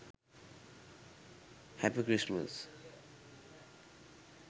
happy christmas